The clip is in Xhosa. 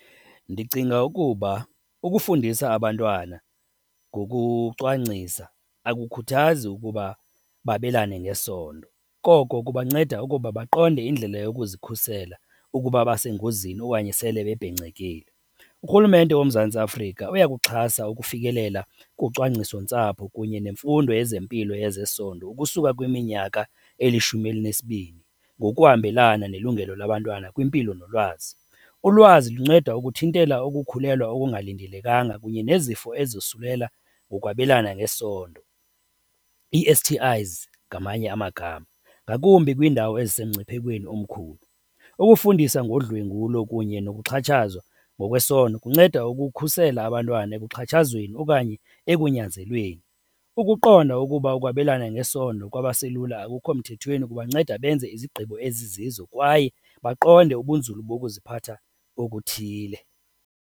Ndicinga ukuba ukufundisa abantwana ngokucwangcisa akukhuthaza ukuba babelane ngesondo koko kubanceda ukuba baqonde indlela yokuzikhusela ukuba basengozini okanye sele bebhencekile. Urhulumente woMzantsi Afrika uyakuxhasa ukufikelela kucwangcisontsapho kunye nemfundo yezempilo yezesondo ukusuka kwiminyaka elishumi elinesibini ngokuhambelana nelungelo labantwana kwimpilo nolwazi. Ulwazi lunceda ukuthintela ukukhulelwa okungalindelekanga kunye nezifo ezosulela ngokwabelana ngesondo, ii-S_T_Is ngamanye amagama, ngakumbi kwiindawo ezisemngciphekweni omkhulu. Ukufundisa ngodlwengulo kunye nokuxhatshazwa ngokwesondo kunceda ukukhusela abantwana ekuxhatshazweni okanye ekunyanzelweni. Ukuqonda ukuba ukwabelana ngesondo kwabaselula akukho mthethweni kubanceda benze izigqibo ezizizo kwaye baqonde ubunzulu bokuziphatha okuthile.